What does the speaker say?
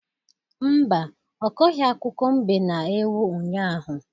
Mba, ọ kọghị akụkọ mbe na ewu unyaahụ.